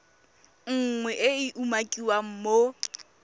nngwe e e umakiwang mo